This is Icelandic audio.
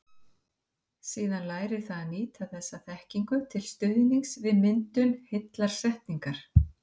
Síðan lærir það að nýta þessa þekkingu til stuðnings við myndun heillar setningar.